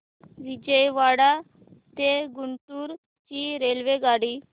विजयवाडा ते गुंटूर ची रेल्वेगाडी